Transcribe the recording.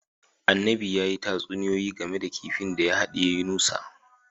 Annabin ya yi tatsuniyoyi game da kifin da ya hadiye Yunusa